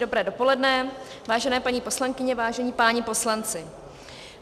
Dobré dopoledne, vážené paní poslankyně, vážení páni poslanci.